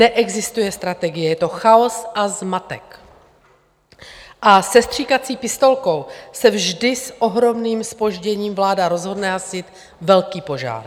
Neexistuje strategie, je to chaos a zmatek a se stříkací pistolkou se vždy s ohromným zpožděním vláda rozhodne hasit velký požár.